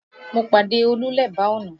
Mo pàdé Olú lẹ́bàá ọ̀nà